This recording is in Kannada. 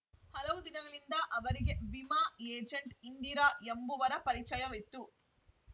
ಹಲವು ದಿನಗಳಿಂದ ಅವರಿಗೆ ವಿಮಾ ಏಜೆಂಟ್‌ ಇಂದಿರಾ ಎಂಬುವರ ಪರಿಚಯವಿತ್ತು